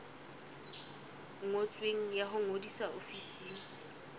ngotsweng ya ho ngodisa ofising